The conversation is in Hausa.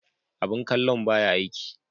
Abun kallon ba ya aiki.